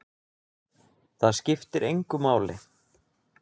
Það skiptir engu máli!